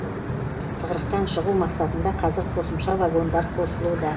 тығырықтан шығу мақсатында қазір қосымша вагондар қосылуда